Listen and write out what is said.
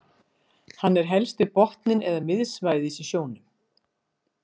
Hann er hellst við botninn eða miðsvæðis í sjónum.